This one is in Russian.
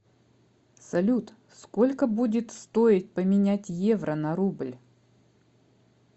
салют сколько будет стоить поменять евро на рубль